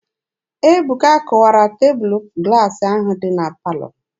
Ebuka kụwara tebụlụ glaasị ahụ dị na palọ.